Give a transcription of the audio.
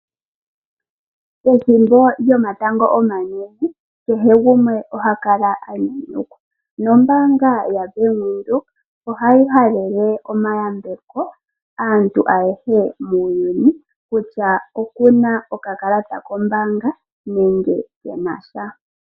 Ethimbo lyo matango omanene, kehe gumwe oha kala a nyanyukwa, nombaanga ya FNB ohayi halele omayambeko aantu ayehe muuyuni, kutya okuna oka kalata kombaanga nenge kenasha.